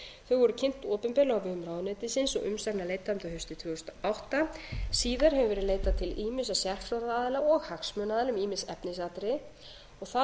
voru kynnt opinberlega á vegum ráðuneytisins og umsagna leitað um þau haustið tvö þúsund og átta síðar hefur verið leitað til ýmissa sérfróðra aðila og hagsmunaaðila um ýmis efnisatriði og það